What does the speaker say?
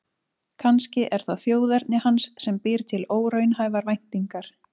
Kannski er það þjóðerni hans sem býr til óraunhæfar væntingar.